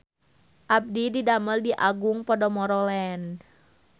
Abdi didamel di Agung Podomoro Land